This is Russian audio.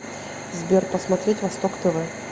сбер посмотреть восток тв